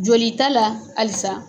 Joli ta la halisa